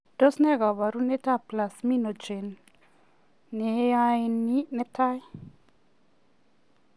Tos nee kabarunoik ap Plasminogen neiyani netai?